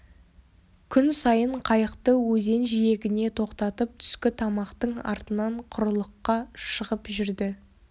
күн сайын қайықты өзен жиегіне тоқтатып түскі тамақтың артынан құрылыққа шығып жүрді